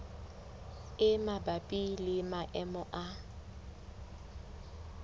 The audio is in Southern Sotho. e mabapi le maemo a